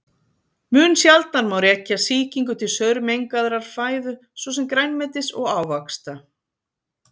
Mun sjaldnar má rekja sýkingu til saurmengaðrar fæðu svo sem grænmetis og ávaxta.